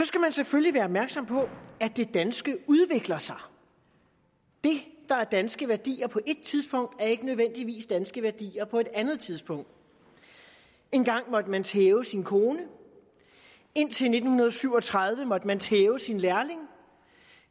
skal selvfølgelig være opmærksom på at det danske udvikler sig det der er danske værdier på ét tidspunkt er ikke nødvendigvis danske værdier på et andet tidspunkt engang måtte man tæve sin kone indtil nitten syv og tredive måtte man tæve sin lærling og